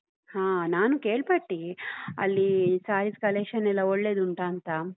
ಹಾ ನಾನು ಕೇಳ್ಪಟ್ಟಿ, ಅಲ್ಲಿ sarees collection ಎಲ್ಲಾ ಒಳ್ಳೆದುಂಟಾ ಅಂತ.